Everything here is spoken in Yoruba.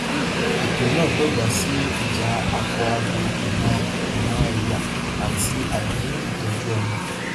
ètò náà dọgbà sí ija akọabo ìran ìran ẹyà àti àìní ìtọjú ọmọ